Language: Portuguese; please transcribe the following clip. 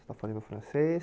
Está fazendo francês.